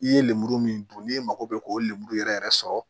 I ye lemuru min dun n'i mago bɛ k'o lemuru yɛrɛ yɛrɛ sɔrɔ